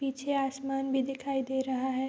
पीछे आसमान भी दिखाई दे रहा है।